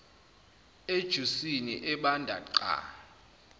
ejusini ebanda qa